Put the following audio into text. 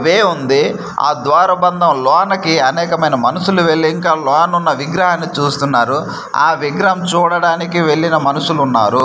వే ఉంది ఆ ద్వార బంధం లోనకి అనేకమైన మనుషులు వెళ్ళి ఇంకా లోనున్న విగ్రహాన్ని చూస్తున్నారు ఆ విగ్రహం చూడడానికి వెళ్లిన మనుషులున్నారు.